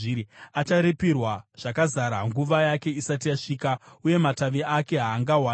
Acharipirwa zvakazara nguva yake isati yasvika, uye matavi ake haangawandi.